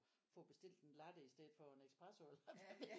At få bestilt en latte i stedet for en espresso